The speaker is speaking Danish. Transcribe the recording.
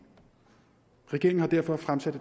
regeringen har derfor fremsat